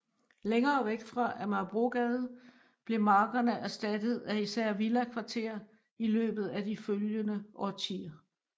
Længere væk fra Amagerbrogade blev markerne erstattet af især villakvarter i løbet af de følgende årtier